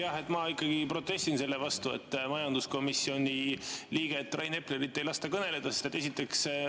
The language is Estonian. Jah, ma ikkagi protestin selle vastu, et majanduskomisjoni liikmel Rain Epleril ei lasta kõneleda.